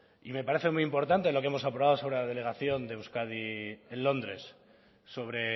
me parece muy importante lo que hemos aprobado sobre la delegación de euskadi en londres sobre